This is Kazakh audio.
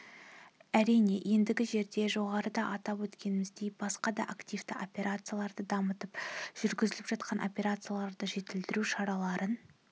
әрине ендігі жерде жоғарыда атап өткеніміздей басқа да активті операцияларды дамытып жүргізіліп жатқан операцияларды жетілдіру шараларын